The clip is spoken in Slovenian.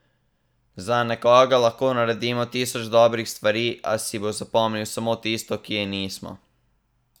Za nekoga lahko naredimo tisoč dobrih stvari, a si bo zapomnil samo tisto, ki je nismo.